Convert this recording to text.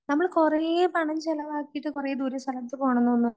നമ്മള് കുറേ പണം ചെലവാക്കിയിട്ട് കുറെ ദൂരെ സ്ഥലത്ത് പോണോന്ന് തോന്നും.